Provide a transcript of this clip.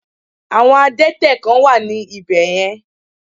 Àwọn Adẹ́tẹ̀ kán wà ní ibè yen